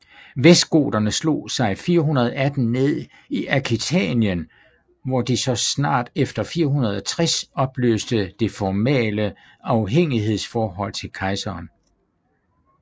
Vestgoterne slog sig 418 ned i Aquitanien hvor de så snart efter 460 opløste det formale afhængighedsforhold til kejseren